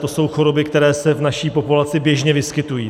To jsou choroby, které se v naší populaci běžně vyskytují.